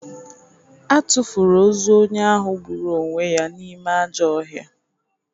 A tụfuru ozu onye ahụ gburu onwe ya n’ime ajọọ ọhịa.